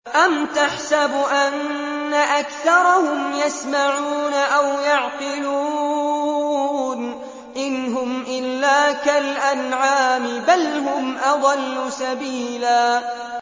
أَمْ تَحْسَبُ أَنَّ أَكْثَرَهُمْ يَسْمَعُونَ أَوْ يَعْقِلُونَ ۚ إِنْ هُمْ إِلَّا كَالْأَنْعَامِ ۖ بَلْ هُمْ أَضَلُّ سَبِيلًا